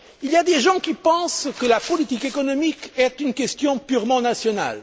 Il y a des personnes qui pensent que la politique économique est une question purement nationale.